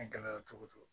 A gɛlɛyara cogo cogo